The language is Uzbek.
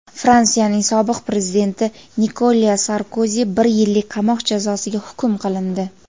Fransiyaning sobiq prezidenti Nikolya Sarkozi bir yillik qamoq jazosiga hukm qilindi.